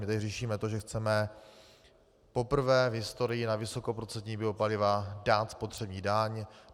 My tady řešíme to, že chceme poprvé v historii na vysokoprocentní biopaliva dát spotřební daň.